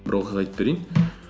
бір оқиға айтып берейін